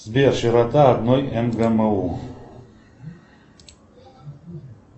сбер широта одной мгму